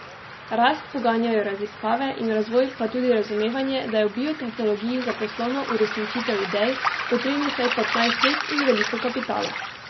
Rast poganjajo raziskave in razvoj, pa tudi razumevanje, da je v biotehnologiji za poslovno uresničitev idej potrebnih vsaj petnajst let in veliko kapitala.